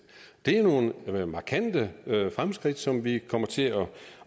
det er nogle markante fremskridt som vi kommer til at